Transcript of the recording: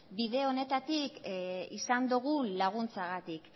bide honetatik izan dugun laguntzagatik